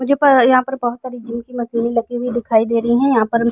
मुझे प यहां पर बहुत सारी जिम की मशीने लगी हुई दिखाई दे रही हैं यहां पर।